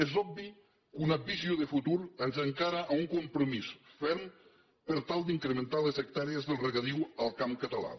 és obvi que una visió de futur ens encara a un compromís ferm per tal d’incrementar les hectàrees del regadiu al camp català